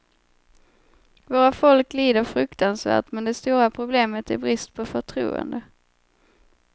Våra folk lider fruktansvärt, men det stora problemet är brist på förtroende.